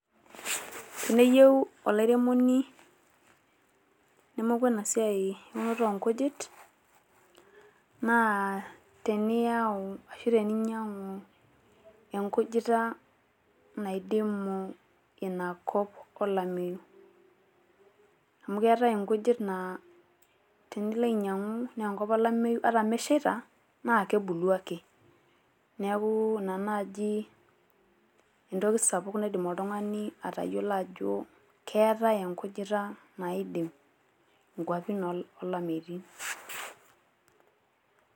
Teneyieu olairemoni nemoku ena siai e unoto oo nkujit naa teniyau ashu teninyiang`u enkujita naidimu ina kop olameyu. A mu keetai inkujit naa tenilo ainyiang`u naa kop olameyu, ata meshaita naa kebulu ake. Niaku ina naaji entoki sapuk naidim oltung`ani atayiolo ajo keetae enkujita naidim nkuapi oolameyutin.